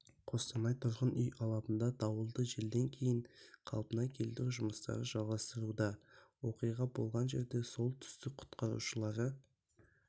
қостанай тұрғын үй алабында дауылды желден кейін қалпына келтіру жұмыстары жалғастыруда оқиға болған жерде солтүстік құтқарушылары